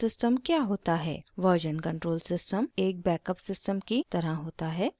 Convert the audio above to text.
version control system एक backup system की तरह होता है